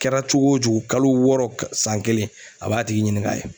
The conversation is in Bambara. Kɛra cogo o cogo kalo wɔɔrɔ san kelen a b'a tigi ɲinin k'a ye.